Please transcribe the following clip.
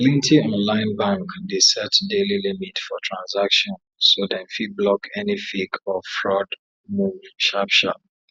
plenty online bank dey set daily limit for transaction so dem fit block any fake or fraud move sharpsharp